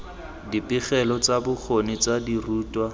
dipegelo tsa bokgoni tsa dirutwa